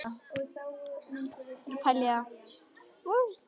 Ástandið um borð í kafbátnum var heldur bágborið.